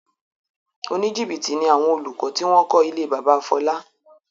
Oníjìbìtì ni àwọn olùkọ́ tí wọ́n kọ ilé bábà Fọlá.